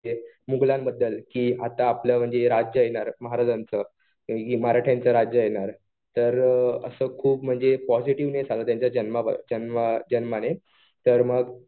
मुघलांबद्दल कि आता आपलं म्हणजे राज्य येणार महाराजांचं. मराठ्यांचं राज्य येणार. तर असं खूप म्हणजे पॉजिटीव्हनेस आला त्यांच्या जन्माने. तर मग